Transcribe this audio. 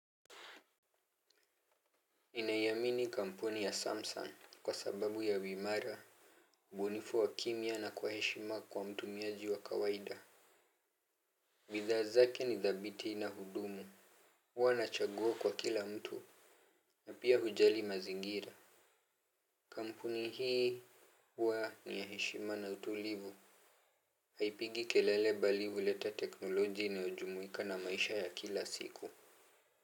Ninaiamini kampuni ya Samsung kwa sababu ya uimara ubunifu wa kimya na kwa heshima kwa mtumiaji wa kawaida. Bidhaa zake ni thabiti na hudumu. Huwa nachagua kwa kila mtu. Na pia hujali mazingira. Kampuni hii huwa ni ya heshima na utulivu. Haipigi kelele bali huleta teknoloji inayojumuika na maisha ya kila siku.